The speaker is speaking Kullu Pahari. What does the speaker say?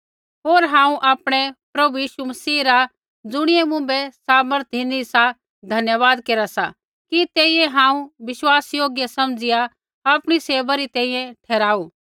होर हांऊँ आपणै प्रभु यीशु मसीह रा ज़ुणियै मुँभै सामर्थ धिनी सा धन्यवाद केरा सा कि तेइयै हांऊँ विश्वासयोग्य समझ़िया आपणी सेवै री तैंईंयैं ठहराऊ